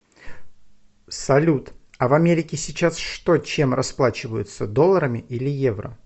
салют а в америке сейчас что чем расплачиваются долларами или евро